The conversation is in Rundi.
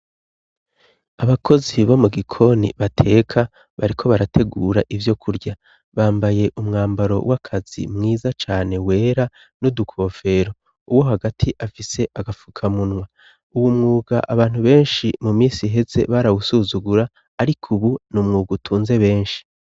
abakozi bo mu gikoni bateka bariko barategura ivyokurya bambaye umwambaro w'akazi mwiza cane wera n'udukofero uwo hagati afise agafukamunwa uwu mwuga abantu benshi mu minsi iheze barawusuzugura ariko ubu ni umwuga utunze benshi